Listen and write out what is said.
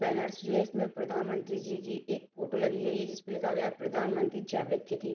Banners जो है इसमें प्रधानमंत्री जी की एक फोटो लगी गई है जिसमें लिखा गया है प्रधानमंत्री जैविक खेती।